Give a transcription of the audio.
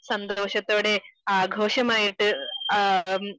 സന്തോഷത്തോടെ ആഘോഷമായിട്ട് ആ